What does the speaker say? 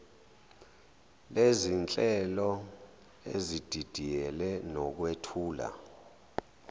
lezinhlelo ezididiyele nokwethula